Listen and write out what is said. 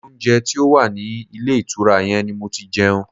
Ilé oúnjẹ tí ó wà ní ilé ìtura yẹn ni mo ti jẹun.